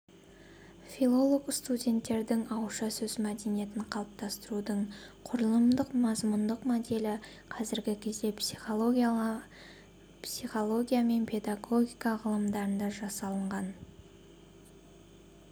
филолог-студенттердің ауызша сөз мәдениетін қалыптастырудың құрылымдық-мазмұндық моделі қазіргі кезде психология мен педагогика ғылымдарында жасалынған